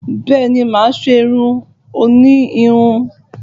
Bẹ́ẹ̀ni mà á ṣé irun òní híhun